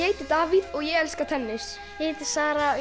heiti Davíð og ég elska tennis ég heiti Sara